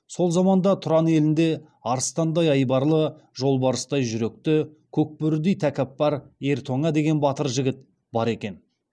сол заманда тұран елінде арыстандай айбарлы жолбарыстай жүректі көк бөрідей тәкаппар ер тоңа деген батыр жігіт бар екен